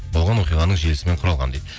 болған оқиғаның желісімен құралған дейді